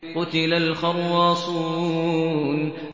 قُتِلَ الْخَرَّاصُونَ